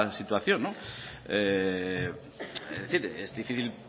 situación es decir es difícil